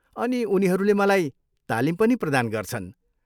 अनि उनीहरूले मलाई तालिम पनि प्रदान गर्छन्।